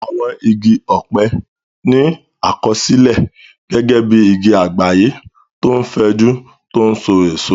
Àwọn igi ọ̀pẹ ní àkọsílẹ̀ gẹ́gẹ́ bí igi àgbáyé tó fẹ̀jú tó n so èso